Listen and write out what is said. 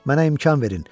Mənə imkan verin.